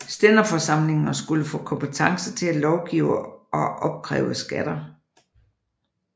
Stænderforsamlingerne skulle få kompetence til at lovgive og opkræve skatter